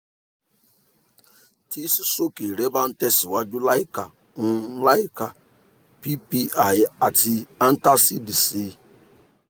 tí sísoske rẹ bá ń tẹ̀síwájú láìka ń tẹ̀síwájú láìka ppi àti antacids sí